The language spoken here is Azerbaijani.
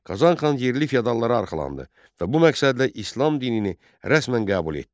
Qazan xan yerli fiyadallara arxalandı və bu məqsədlə İslam dinini rəsmən qəbul etdi.